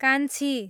कान्छी